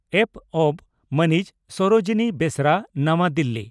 ᱯᱹᱵᱹ) ᱢᱟᱹᱱᱤᱡ ᱥᱚᱨᱚᱡᱤᱱᱤ ᱵᱮᱥᱨᱟ (ᱱᱟᱣᱟ ᱫᱤᱞᱤ)